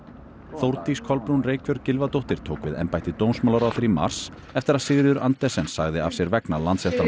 Þórdís Kolbrún Reykfjörð Gylfadóttir tók við embætti dómsmálaráðherra í mars eftir að Sigríður Andersen sagði af sér vegna